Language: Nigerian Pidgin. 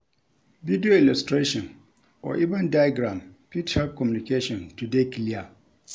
Video illustration or even diagram fit help communication to dey clear